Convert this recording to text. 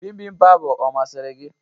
Bimbimbap ahụ ọ masịrị gị?